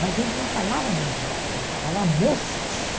Mas ele não falava meninas, ele falava moças.